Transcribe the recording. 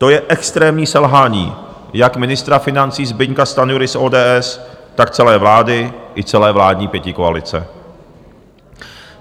To je extrémní selhání jak ministra financí Zbyňka Stanjury z ODS, tak celé vlády i celé vládní pětikoalice.